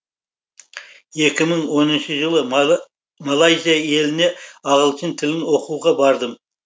екі мың оныншы жылы малайзия еліне ағылшын тілін оқуға бардым